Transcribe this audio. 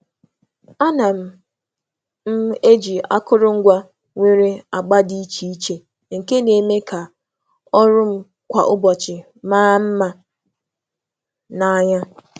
A na m eji akụrụngwa nwere agba dị iche iche nke na-eme ka imecha m kwa ụbọchị maa mma n’anya.